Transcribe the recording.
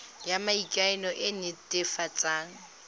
ya maikano e e netefatsang